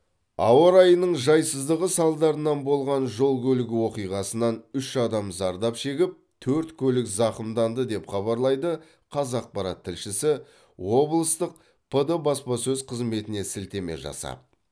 ауа райының жайсыздығы салдарынан болған жол көлік оқиғасынан үш адам зардап шегіп төрт көлік зақымданды деп хабарлайды қазақпарат тілшісі облыстық пд баспасөз қызметіне сілтеме жасап